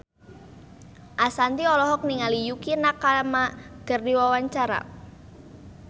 Ashanti olohok ningali Yukie Nakama keur diwawancara